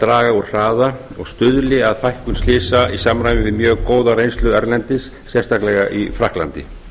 draga úr hraða og stuðli að fækkun slysa í samræmi við mjög góða reynslu erlendis sérstaklega í frakklandi